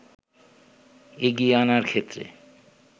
এগিয়ে আনার ক্ষেত্রে